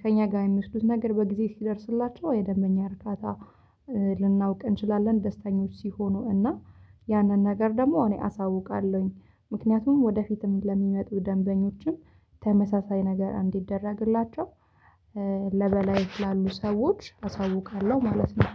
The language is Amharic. ከእኛ ጋር የሚስዱት ነገር በጊዜ ሲደርስላቸው የደንበኛ እርካታ። ልናውቅ እንችላለን ደስተኞች ሲሆኑ እና ያንን ነገር ደግሞ እኔ አሳውቃለሁኝ። ምክንያቱም ወደፊትም ለሚመጡ ደንበኞችም ተመሳሳይ ነገር እንዲደረግላቸው። ላሉ ሰዎች አሳውቃለሁ ማለት ነው።